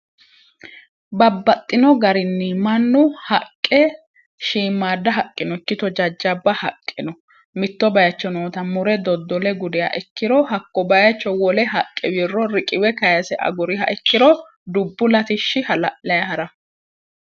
babbaxxino garinni mannu haqqe shiimaada haqqinokki to jajjabba haqqi no mitto bayicho noota mure doddole gudiha ikkiro hakko bayecho wole haqqe wirro riqiwe kayise aguriha ikkiro dubbu latishshi hala'laaha'ra